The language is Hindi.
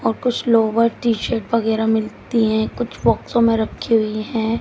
और कुछ लोवर टी शर्ट वगैरा मिलती हैं कुछ बॉक्सो में रखी हुई है।